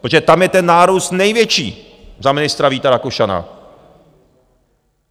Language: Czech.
Protože tam je ten nárůst největší za ministra Víta Rakušana.